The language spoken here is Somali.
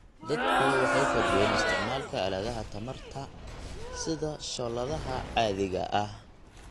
Dadku waxay kordhiyeen isticmaalka aaladaha tamarta tamarta sida shooladaha caadiga ah.